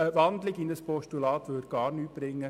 Eine Umwandlung in ein Postulat würde gar nichts bringen.